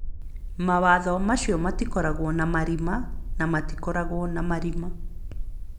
Mawatho macio matikoragwo na marima na matikoragwo na marima.